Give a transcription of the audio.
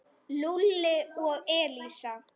Lúlli og Elísa.